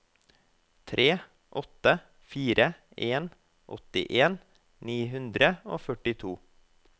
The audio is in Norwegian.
tre åtte fire en åttien ni hundre og førtito